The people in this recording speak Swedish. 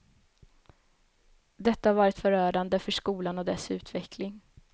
Detta har varit förödande för skolan och dess utveckling.